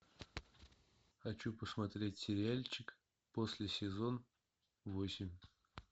хочу посмотреть сериальчик после сезон восемь